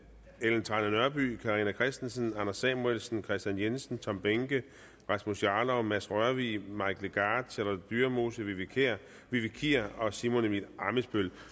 ellen trane nørby carina christensen anders samuelsen kristian jensen tom behnke rasmus jarlov mads rørvig mike legarth charlotte dyremose vivi kier vivi kier og simon emil ammitzbøll